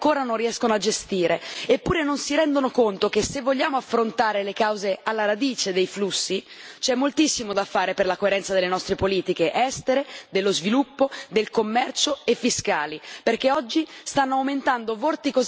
Eppure non si rendono conto che, se vogliamo affrontare le cause alla radice dei flussi, c'è moltissimo da fare per la coerenza delle nostre politiche estere, dello sviluppo, del commercio e fiscali, perché oggi stanno aumentando vorticosamente le diseguaglianze globali.